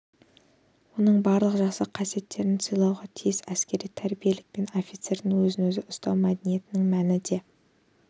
оның барлық жақсы қасиеттерін сыйлауға тиіс әскери тәрбиелілік пен офицердің өзін-өзі ұстау мәдениетінің мәні де